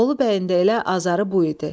Bolu bəyin də elə azarı bu idi.